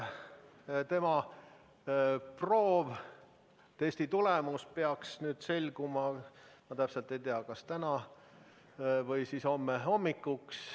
Tema proovi, testi tulemus peaks selguma, ma täpselt ei tea, kas täna või siis homme hommikuks.